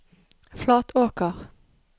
Flatråker